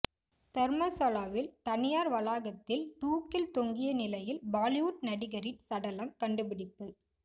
தர்மசாலாவில் தனியார் வளாகத்தில் தூக்கில் தொங்கிய நிலையில் பாலிவுட் நடிகரின் சடலம் கண்டுபிடிப்பு